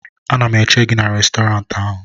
ana m eche gị n'Restọrantị ahụ